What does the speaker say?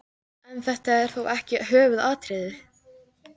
En þetta er þó ekki höfuðatriðið.